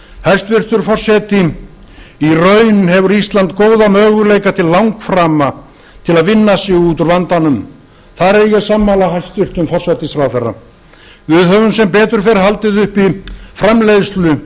hæstvirtur forseti í raun hefur ísland góða möguleika til langframa til að vinna sig út úr vandanum þar er ég sammála hæstvirtum forsætisráðherra við höfum sem betur fer haldið uppi framleiðslu